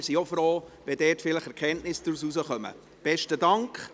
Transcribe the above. Wir selbst sind auch froh, wenn man daraus vielleicht Erkenntnisse gewinnen kann.